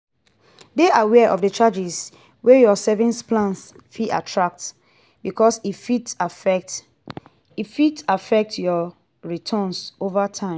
dey aware of the charges wey your savings plans fit attract because e fit affect e fit affect your returns over time